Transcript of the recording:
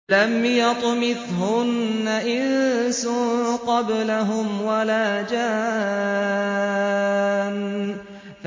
لَمْ يَطْمِثْهُنَّ إِنسٌ قَبْلَهُمْ وَلَا جَانٌّ